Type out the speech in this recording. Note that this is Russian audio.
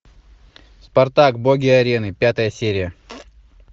спартак боги арены пятая серия